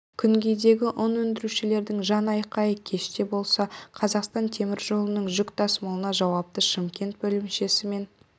күнгейдегі ұн өндірушілердің жан айқайы кеште болса қазақстан темір жолының жүк тасымалына жауапты шымкент бөлімшесі мен